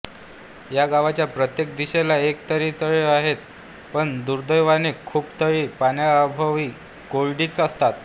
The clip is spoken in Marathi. या गावाच्या प्रत्येक दिशेला एक तरी तळे आहेच पण दुर्दैवाने खूप तळी पाण्याअभावी कोरडीच असतात